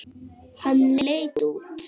Hann leit út.